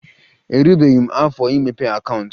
Erubeghi m afọ imepe akaụntụ